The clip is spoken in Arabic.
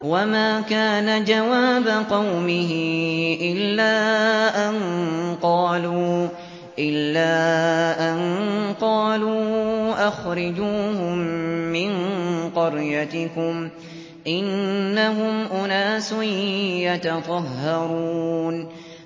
وَمَا كَانَ جَوَابَ قَوْمِهِ إِلَّا أَن قَالُوا أَخْرِجُوهُم مِّن قَرْيَتِكُمْ ۖ إِنَّهُمْ أُنَاسٌ يَتَطَهَّرُونَ